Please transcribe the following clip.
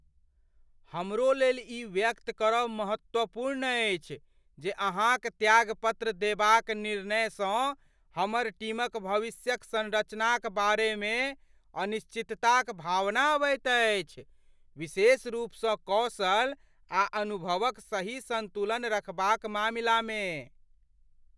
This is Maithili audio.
हमरो लेल ई व्यक्त करब महत्वपूर्ण अछि जे अहाँक त्यागपत्र देबाक निर्णय सँ हमर टीमक भविष्यक संरचनाक बारे मे अनिश्चितताक भावना अबैत अछि, विशेष रूपसँ कौशल आ अनुभवक सही संतुलन रखबाक मामिला मे।